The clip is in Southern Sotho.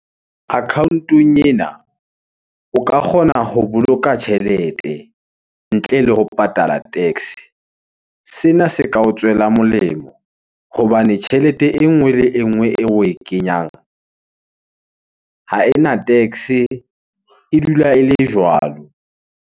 Account-ong ena o ka kgona ho boloka tjhelete ntle le ho patala tax. Sena se ka o tswela molemo hobane tjhelete e nngwe le e nngwe eo oe kenyang ha ena tax, e dula ele jwalo.